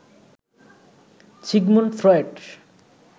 Sigmund Freud